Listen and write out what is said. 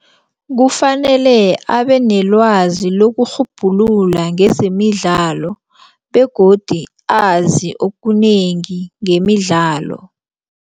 Kufanele abenelwazi lokurhubhulula ngezemidlalo begodu azi okunengi ngemidlalo.